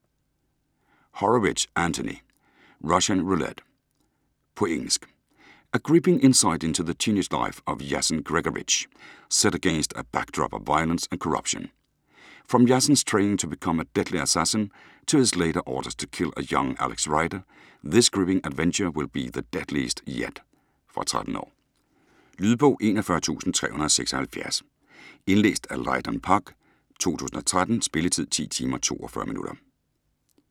Horowitz, Anthony: Russian roulette På engelsk. A gripping insight into the teenage life of Yassen Gregorovich, set against a backdrop of violence and corruption. From Yassen's training to become a deadly assassin, to his later orders to kill a young Alex Rider, this gripping adventure will be the deadliest yet. Fra 13 år. Lydbog 41376 Indlæst af Leighton Pugh, 2013. Spilletid: 10 timer, 42 minutter.